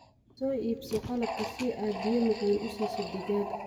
Soo iibso qalabka si aad biyo macaan u siiso digaagga.